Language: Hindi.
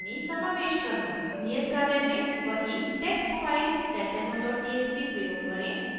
नियत कार्य में वही text file seddemo txt प्रयोग करें